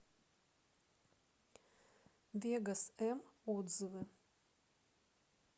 вегос м отзывы